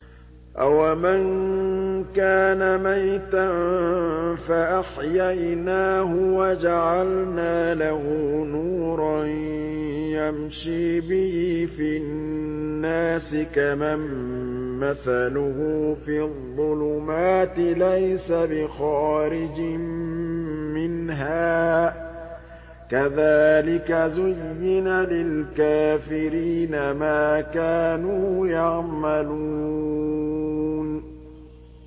أَوَمَن كَانَ مَيْتًا فَأَحْيَيْنَاهُ وَجَعَلْنَا لَهُ نُورًا يَمْشِي بِهِ فِي النَّاسِ كَمَن مَّثَلُهُ فِي الظُّلُمَاتِ لَيْسَ بِخَارِجٍ مِّنْهَا ۚ كَذَٰلِكَ زُيِّنَ لِلْكَافِرِينَ مَا كَانُوا يَعْمَلُونَ